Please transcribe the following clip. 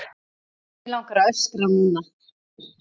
Mig langar að öskra núna.